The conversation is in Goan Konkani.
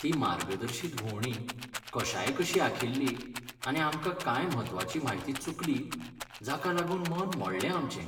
ती मार्गदर्शीत भोंवडी कशायकशी आंखिल्ली आनी आमकां कांय म्हत्वाची म्हायती चुकली जाका लागून मन मोडलें आमचें.